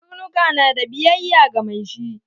Karnuka na da biyayya ga mai shi